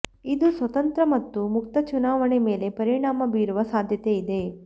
ಇದು ಸ್ವತಂತ್ರ ಮತ್ತು ಮುಕ್ತ ಚುನಾವಣೆ ಮೇಲೆ ಪರಿಣಾಮ ಬೀರುವ ಸಾದ್ಯತೆ ಇದೆ